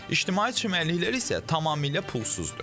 İctimai çimərliklər isə tamamilə pulsuzdur.